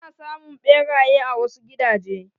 Ana samun ɓeraye a wasu gidaje.